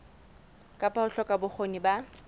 kapa ho hloka bokgoni ba